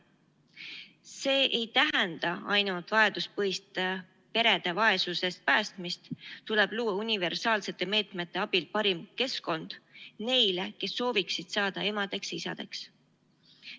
See ei tähenda ainult vajaduspõhist perede vaesusest päästmist, tuleb luua universaalsete meetmete abil parim keskkond neile, kes sooviksid saada emadeks-isadeks.